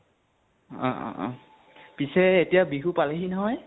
অ অ অ । পিছে এতিয়া বিহু পালেহি নহয়?